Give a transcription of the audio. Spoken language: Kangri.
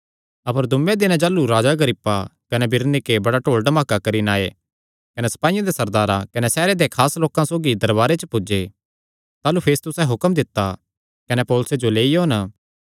अपर दूँये दिने जाह़लू राजा अग्रिप्पा कने बिरनीके बड़ा डोल डमाका करी नैं आये कने सपाईयां दे सरदारां कने सैहरे देयां खास लोकां सौगी दरबारे पर पुज्जे ताह़लू फेस्तुसें हुक्म दित्ता कने पौलुसे जो लेई ओन